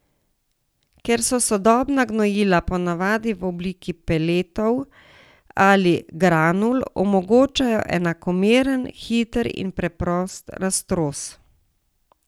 Ker so sodobna gnojila ponavadi v obliki peletov ali granul, omogočajo enakomeren, hiter in preprost raztros.